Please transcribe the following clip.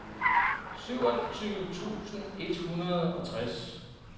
syvogtyve tusind et hundrede og tres